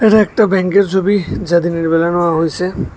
ওই একটা ব্যাংকের ছবি যাতে হইসে।